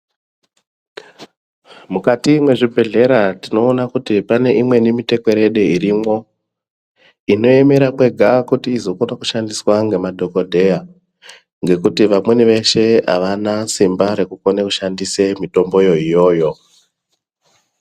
Mukati mwezvibhedhlera tinoona kuti pane imweni mitekwerede irimwo, inoemera kwega kuti izokona kushandiswa ngemadhokodheya. Ngekuti vamweni veshe avana simba rekukona kushandise mitomboyo iyoyo.